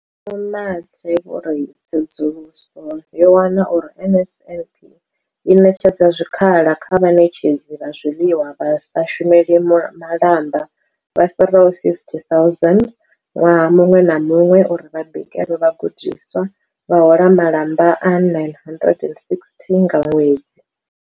Vho Mathe vho ri, Tsedzuluso yo wana uri NSNP i ṋetshedza zwikhala kha vhaṋetshedzi vha zwiḽiwa vha sa shumeli malamba vha fhiraho 50 000 ṅwaha muṅwe na muṅwe uri vha bikele vhagudiswa, vha hola malamba a R960 nga ṅwedzi.